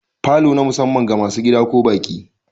Falo na musamman ga masu gida ko baƙi.